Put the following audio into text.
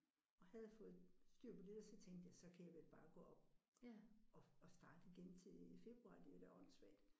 Og havde fået styr på det der så tænkte jeg så kan jeg vel bare gå op og og starte igen til februar det er da åndssvagt